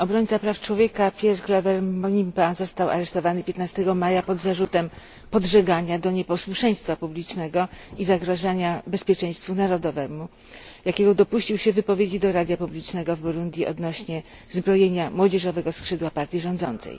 Obrońca praw człowieka Pierre Claver Mbonimpa został aresztowany 15 maja pod zarzutem podżegania do nieposłuszeństwa publicznego i zagrażania bezpieczeństwu narodowemu, jakiego dopuścił się w wypowiedzi do radia publicznego w Burundi odnośnie do zbrojenia młodzieżowego skrzydła partii rządzącej.